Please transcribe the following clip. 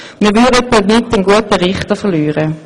Wir würden damit einen guten Richter verlieren.